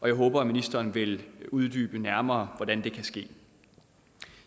jeg håber at ministeren vil uddybe nærmere hvordan det kan ske